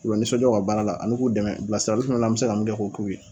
K'u lanisɔnjaa u ka baara la ani k'u dɛmɛ bilasirali fɛnɛ an bɛ se ka mun kɛ k'o k'u ye.